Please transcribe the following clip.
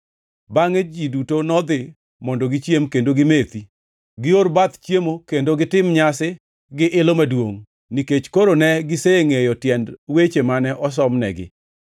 Bangʼe ji duto nodhi mondo gichiem kendo gimethi, gior bath chiemo kendo gitim nyasi gi ilo maduongʼ, nikech koro ne gisengʼeyo tiend weche mane osomnegi.